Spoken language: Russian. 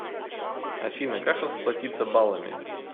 афина как расплатится балами